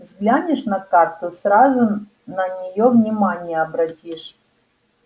взглянешь на карту сразу на неё внимание обратишь